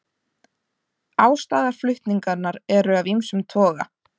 Ástæður flutninganna eru af ýmsum toga